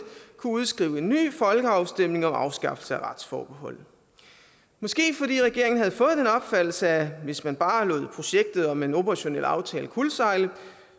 kunne udskrive en ny folkeafstemning om afskaffelse af retsforbeholdet måske fordi regeringen havde fået den opfattelse at hvis man bare lod projektet om en operationel aftale kuldsejle